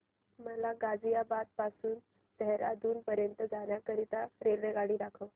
मला गाझियाबाद पासून ते देहराडून पर्यंत जाण्या करीता रेल्वेगाडी दाखवा